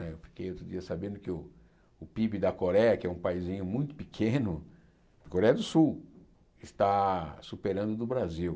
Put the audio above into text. Né eu fiquei outro dia sabendo que o Pib da Coreia, que é um paísinho muito pequeno, a Coreia do Sul está superando o do Brasil.